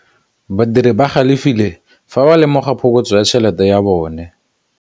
Badiri ba galefile fa ba lemoga phokotsô ya tšhelête ya bone.